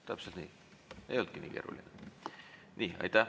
Täpselt nii, ei olnudki nii keeruline.